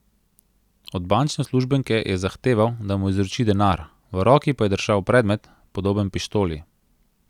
Od bančne uslužbenke je zahteval, da mu izroči denar, v roki pa je držal predmet, podoben pištoli.